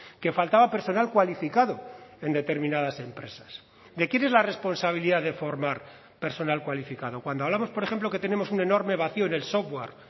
que faltaba personal cualificado en determinadas empresas de quién es la responsabilidad de formar personal cualificado cuando hablamos por ejemplo que tenemos un enorme vacío en el software